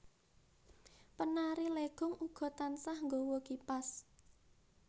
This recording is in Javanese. Penari Legong uga tansah nggawa kipas